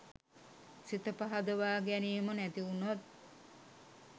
සිත පහදවා ගැනීම නැතිවුණොත්